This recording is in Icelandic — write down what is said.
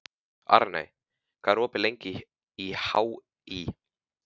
Arney, hvað er opið lengi í HÍ?